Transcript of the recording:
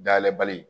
Dayɛlɛ bali